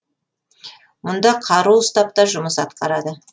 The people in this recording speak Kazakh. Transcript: мұнда қару ұстап та жұмыс атқарады